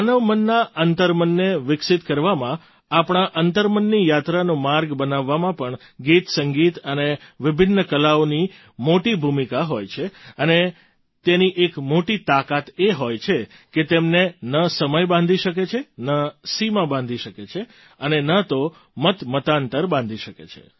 માનવ મનના અંતર્મનને વિકસિત કરવામાં આપણા અંતર્મનની યાત્રાનો માર્ગ બનાવવામાં પણ ગીતસંગીત અને વિભિન્ન કલાઓની મોટી ભૂમિકા હોય છે અને તેની એક મોટી તાકાત એ હોય છે કે તેમને ન સમય બાંધી શકે છે ન સીમા બાંધી શકે છે અને ન તો મતમતાંતર બાંધી શકે છે